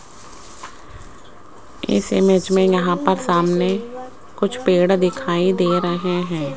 इस इमेज में यहां पर सामने कुछ पेड़ दिखाई दे रहे हैं।